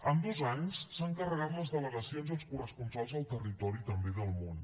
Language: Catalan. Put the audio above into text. en dos anys s’han carregat les delegacions i els corresponsals al territori i també del món